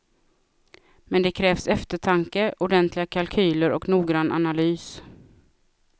Men det krävs eftertanke, ordentliga kalkyler och noggrann analys.